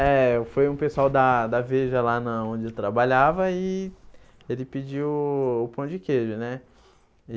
É, foi um pessoal da da Veja lá na onde eu trabalhava e ele pediu o o pão de queijo, né?